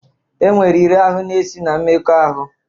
E nwere iri ahụ na-esi na mmekọahụ.